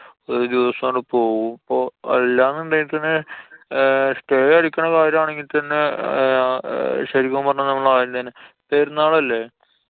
ഒരൂസം അങ്ങട് പോവും. അല്ലന്നുടെങ്കി പിന്നെ ഹ്~ stay അടിക്കണ കാര്യം ആണെങ്കില്‍ തന്നെ ഹ്~ ശരിക്കും പറഞ്ഞാ നമ്മളു ആദ്യം തന്നെ. പെരുന്നാളല്ലേ?